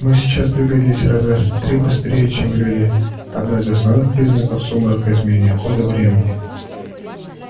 мы сейчас двигались раза в три быстрее чем люди одно из основных признаков сумрака изменение хода времени